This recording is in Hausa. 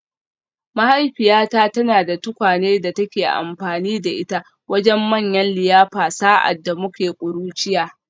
Mahaifiyata tana da tukwane da take amfani da ita wajen manyan liyafa sa’ad da muke ƙuruciya